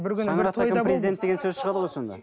деген сөз шығады ғой сонда